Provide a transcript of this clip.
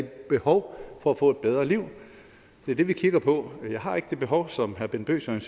behov for at få et bedre liv det er det vi kigger på jeg har ikke det behov som herre bent bøgsted